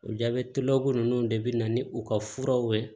O jabɛtibugu ninnu de bɛ na ni u ka furaw ye